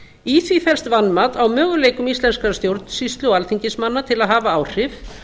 í því felst vanmat á möguleikum íslenskrar stjórnsýslu og alþingismanna til að hafa áhrif